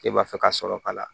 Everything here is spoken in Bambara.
K'e b'a fɛ ka sɔrɔ ka na